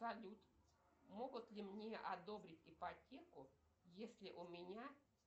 салют могут ли мне одобрить ипотеку если у меня